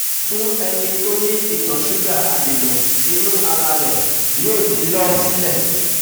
Fún ẹni tó ní ìtọ ṣúgà adèǹà inú ara rẹ̀ yóò ti lọ sílẹ̀